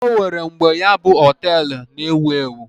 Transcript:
O nwere mgbe ya bụ họtel na-ewu ewu.